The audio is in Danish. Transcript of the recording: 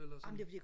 eller sådan